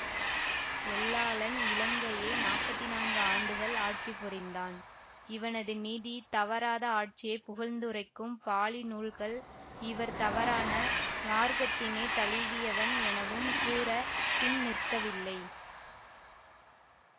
எல்லாளன் இலங்கையை நாப்பத்தி நான்கு ஆண்டுகள் ஆட்சிபுரிந்தான் இவனது நீதி தவறாத ஆட்சியை புகழ்ந்துரைக்கும் பாளி நூல்கள் இவர் தவறான மார்க்கத்தினை தழுவியவன் எனவும் கூறப் பின் நிற்கவில்லை